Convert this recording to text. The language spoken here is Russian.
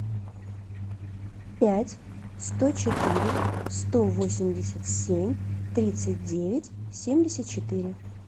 пять сто четыре сто восемьдесят семь тридцать девять семьдесят четыре